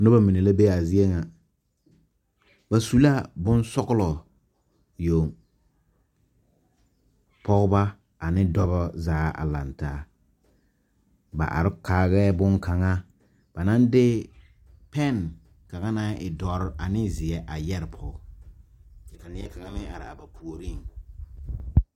Nobɔ mine la be a zie nyɛ ,ba su la boŋ sɔglɔ yoŋ ,pɔgeba ane dɔba zaa a laŋ taa ba are kaarɛɛ boŋkaŋa pɛn kaŋa na waa zeɛ ane dɔre a yɛre pɔg ka neɛkaŋa meŋ are a ba puoriŋ.